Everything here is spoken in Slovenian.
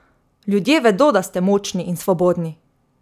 Ljudje vedo, da ste močni in svobodni.